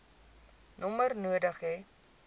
nommer nodig hê